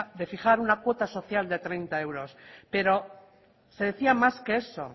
de fijar una cuota social de treinta euros pero se decía más que eso